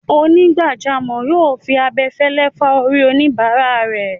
Onígbàjámọ̀ yóò fi abẹfẹ́lẹ́ fá orí oníbáràa rẹ̀.